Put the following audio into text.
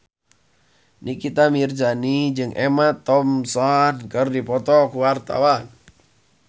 Nikita Mirzani jeung Emma Thompson keur dipoto ku wartawan